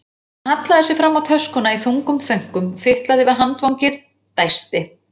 Hann hallaði sér fram á töskuna í þungum þönkum, fitlaði við handfangið, dæsti.